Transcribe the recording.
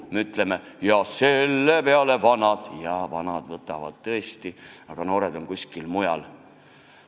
Me ütleme: "Ja selle peale vanad...", ja vanad võtavad tõesti, aga noored on kuskil mujal.